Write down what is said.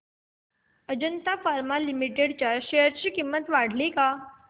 Ajanta Pharma Limited च्या share ची किंमत वाढली का